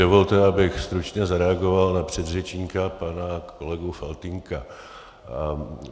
Dovolte, abych stručně zareagoval na předřečníka pana kolegu Faltýnka.